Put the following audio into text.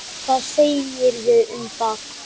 Hvað segirðu um það?